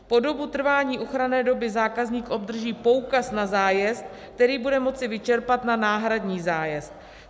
Po dobu trvání ochranné doby zákazník obdrží poukaz na zájezd, který bude moci vyčerpat na náhradní zájezd.